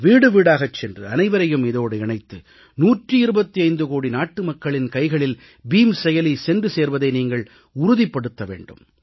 வீடு வீடாகச் சென்று அனைவரையும் இதோடு இணைத்து 125 கோடி நாட்டு மக்களின் கைகளில் பீம் செயலி சென்று சேர்வதை நீங்கள் உறுதிப்படுத்த வேண்டும்